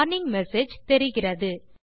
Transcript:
warning message தெரிகிறது